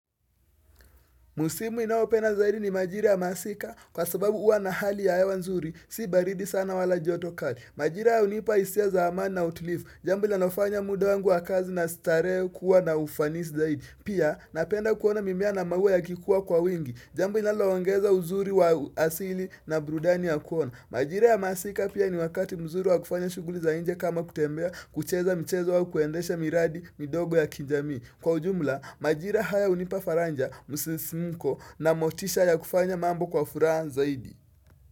Musimu inaopenda zaidi ni maajiri ya masika kwa sababu uwa na hali ya hewa nzuri si baridi sana wala joto kali. Majira hunipa hisia za amani na utulivu. Jambo linalofanya muda wangu wa kazi na starehe kuwa na ufanisi zaidi. Pia napenda kuona mimea na maua ya kikuwa kwa wingi. Jambo linalo ongeza uzuri wa asili na burudani ya kuona. Majira ya masika pia ni wakati mzuri wa kufanya shughuli za inje kama kutembea kucheza mchezo wa kuendesha miradi midogo ya kijamii. Kwa ujumla, majira haya hunipa faraja msisimuko na motisha ya kufanya mambo kwa furaha zaidi.